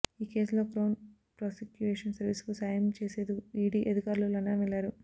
ఈ కేసులో crown prosecution సర్వీసుకు సాయం చేసేదుకు ఈడీ అధికారులు లండన్ వెళ్లారు